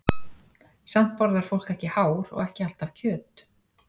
Samt borðar fólk ekki hár og ekki alltaf kjöt.